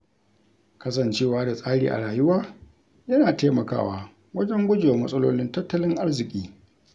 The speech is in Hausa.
Kasancewa da tsari a rayuwa yana taimakawa wajen gujewa matsalolin tattalin arziƙi.